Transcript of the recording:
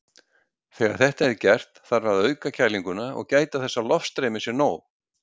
Þegar þetta er gert þarf að auka kælinguna og gæta þess að loftstreymið sé gott.